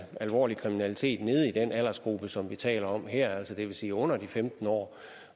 alvorlig kriminalitet nede i den aldersgruppe som vi taler om her altså det vil sige under de femten år